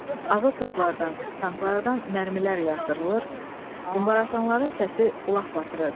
Ağır toplardan, tanklardan mərmilər yağdırılır, qumbara atanların səsi qulaq batırırdı.